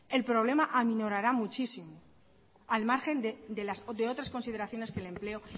el problema aminorará muchísimo al margen de otras consideraciones que el empleo